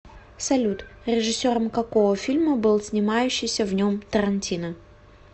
салют режиссером какого фильма был снимающиися в нем тарантино